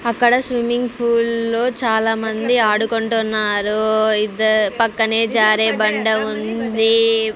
అక్కడ swimming pool లో చాలామంది ఆడుకుంటున్నారు ఇద్దర్ పక్కనే జారే బండ ఉంది.